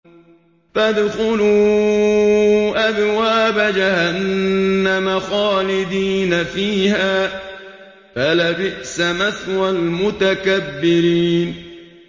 فَادْخُلُوا أَبْوَابَ جَهَنَّمَ خَالِدِينَ فِيهَا ۖ فَلَبِئْسَ مَثْوَى الْمُتَكَبِّرِينَ